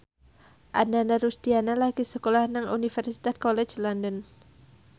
Ananda Rusdiana lagi sekolah nang Universitas College London